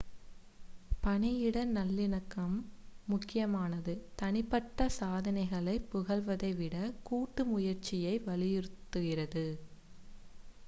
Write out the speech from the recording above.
பணியிட நல்லிணக்கம் முக்கியமானது தனிப்பட்ட சாதனைகளைப் புகழ்வதை விடக் கூட்டு முயற்சியை வலியுறுத்துகிறது